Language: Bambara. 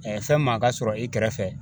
fɛn min a ka sɔrɔ i kɛrɛfɛ